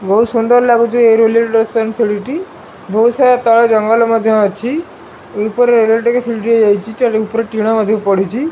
ବହୁତ୍ ସୁନ୍ଦର୍ ଲାଗୁଛି ଏହି ବହୁତ୍ ସାରା ତଳେ ଜଙ୍ଗଲ ମଧ୍ୟ ଅଛି ଉପରେ ଟିଣ ମଧ୍ୟ ପଡ଼ିଛି।